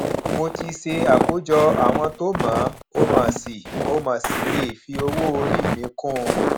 mo ti ṣe àkójọ àwọn tó mọ ọ mo sì ọ mo sì lè fi owóorí míì kún un